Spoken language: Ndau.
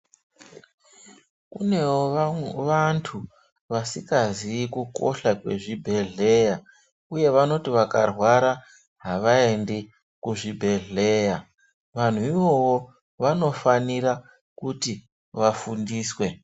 Kunewo vantu vasikazivi kukosha kwezvibhedhlera uye vanoti vakarwara avaendi kuzvibhedhlera vanhu ivavo vanofanira kuti vafundiswe .